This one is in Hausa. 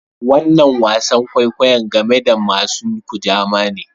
Wanan wasan kwaikwayo game da masun Kujama ne.